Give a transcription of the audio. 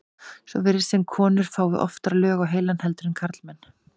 svo virðist sem konur fái oftar lög á heilann heldur en karlmenn